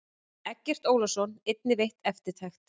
Eggert Ólafsson einnig veitt eftirtekt.